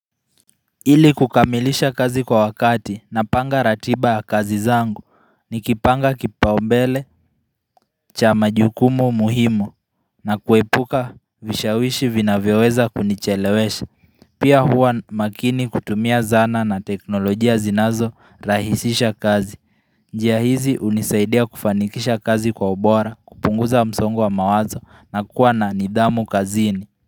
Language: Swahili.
Ili kukamilisha kazi kwa wakati napanga ratiba ya kazi zangu nikipanga kipaombele cha majukumu muhimu na kuepuka vishawishi vivyoweweza kunichelewesha pia huwa makini kutumia zana na teknolojia zinazo rahisisha kazi njia hizi hunisaidia kufanikisha kazi kwa ubora kupunguza msongwa wa mawazo na kuwa na nidhamu kazini.